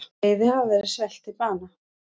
Seiði hafa verið svelt til bana.